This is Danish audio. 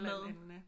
Maden